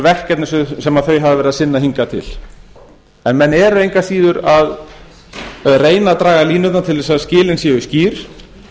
verkefni sem þau hafa verið að sinna hingað til menn eru engu að síður að reyna að draga línurnar til þess að skilin séu skýr